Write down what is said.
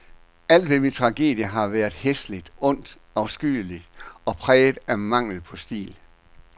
Alt ved min tragedie har været hæsligt, ondt, afskyeligt og præget af mangel på stil.